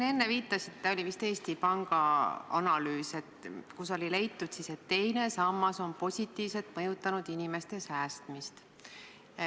Te enne viitasite ühele analüüsile – see oli vist Eesti Panga analüüs –, kus leiti, et teine sammas on positiivselt mõjutanud inimeste säästmist.